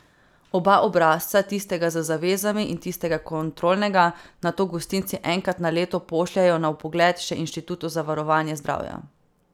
Oba obrazca, tistega z zavezami in tistega kontrolnega, nato gostinci enkrat na leto pošljejo na vpogled še inštitutu za varovanje zdravja.